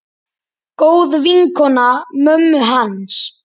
Góð vinkona mömmu hans.